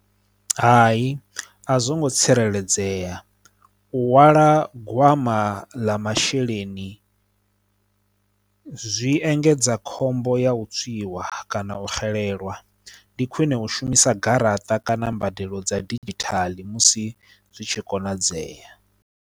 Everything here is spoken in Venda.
Hai a zwo ngo tsireledzea u hwala gwama ḽa masheleni zwi engedza khombo ya u tswiwa kana u xelelwa ndi khwine u shumisa garaṱa kana mbadelo dza didzhithala musi zwi tshi konadzea.